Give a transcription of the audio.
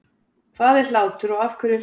Hvað er hlátur og af hverju hlæjum við?